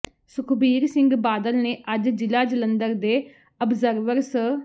ਸੁਖਬੀਰ ਸਿੰਘ ਬਾਦਲ ਨੇ ਅੱਜ ਜਿਲਾ ਜਲੰਧਰ ਦੇ ਅਬਜਰਵਰ ਸ